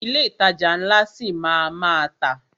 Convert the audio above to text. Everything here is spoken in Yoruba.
Ilé ìtajà ńlá ṣi máa a má tà.